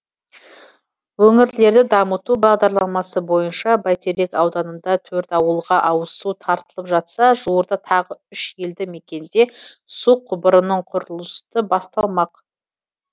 өңірлерді дамыту бағдарламасы бойынша бәйтерек ауданында төрт ауылға ауызсу тартылып жатса жуырда тағы үш елді мекенде су құбырының құрылысы басталмақ